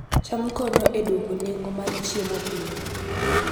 cham konyo e dwoko nengo mar chiemo piny